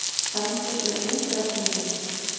Stendur við útreikninginn